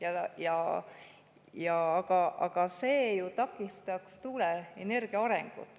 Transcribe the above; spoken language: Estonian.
Aga ju takistaks tuuleenergia arengut.